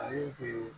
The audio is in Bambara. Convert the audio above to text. Ale